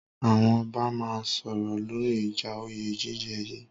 Àwọn ọba máa sọ̀rọ̀ lóri ìja òyé jíjẹ yìí.